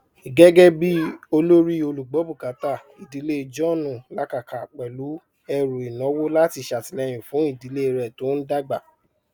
gégébí olórí olùgbọbùkátà ìdílé john làkàkà pẹlú ẹrù ìnáwó láti sàtìlẹyìn fún ìdílé rẹ tó ń dàgbà